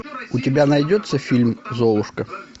у тебя найдется фильм золушка